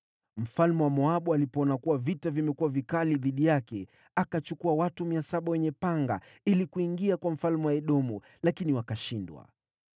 Mfalme wa Moabu alipoona kuwa vita vimekuwa vikali dhidi yake, akachukua watu 700 wenye panga ili kuingia kwa mfalme wa Edomu, lakini wakashindwa.